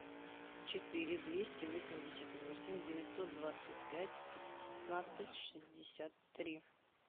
четыре двести восемьдесят восемь девятьсот двадцать пять пятнадцать шестьдесят три